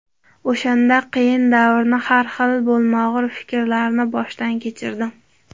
O‘shanda qiyin davrni, har xil bo‘lmag‘ur fikrlarni boshdan kechirdim.